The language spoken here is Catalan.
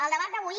el debat d’avui